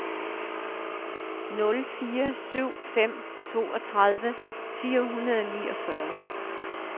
nul fire syv fem toogtredive fire hundrede og niogfyrre